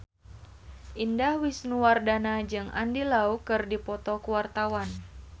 Indah Wisnuwardana jeung Andy Lau keur dipoto ku wartawan